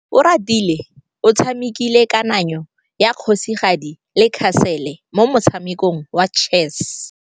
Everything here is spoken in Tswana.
Oratile o tshamekile kananyô ya kgosigadi le khasêlê mo motshamekong wa chess.